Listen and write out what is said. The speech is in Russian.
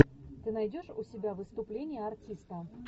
ты найдешь у себя выступление артиста